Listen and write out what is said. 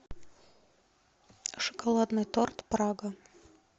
шоколадный торт прага